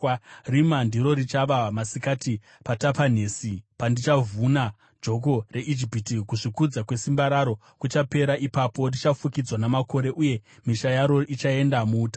Zuva iroro richava rerima paTapanhesi, pandichavhuna joko reIjipiti; kuzvikudza kwesimba raro kuchapera ipapo. Richafukidzwa namakore, uye misha yaro ichatapwa.